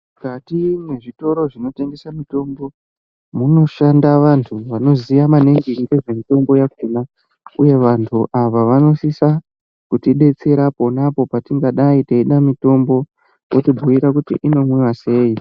Mukati mwezvitoro zvinotengesa mitombo, munoshanda vantu vanoziya maningi ngezvemitombo yakhona uye vantu vanosisa kutidetsera ponapo petinenge teidai teida mitombo, votibhuyira kuti inomwiwa sei.